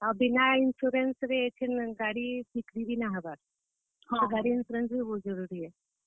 ଆଉ ବିନା insurance ରେ ଇହାଦେ ଗାଡି ବିକ୍ରି ବି ନାଇ ହେବାର , ଗାଡି insurance ବି ବହୁତ ଜରୁରୀ ଆଏ।